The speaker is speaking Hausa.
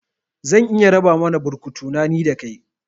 Zan iya raba mana burkutu na, ni da kai